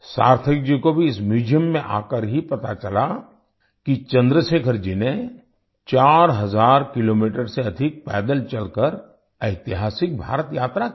सार्थक जी को भी इस म्यूजियम में आकर ही पता चला कि चंद्रशेखर जी ने 4 हज़ार किलोमीटर से अधिक पैदल चलकर ऐतिहासिक भारत यात्रा की थी